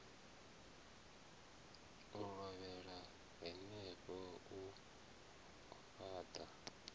u lovhela henefho u fhaṱa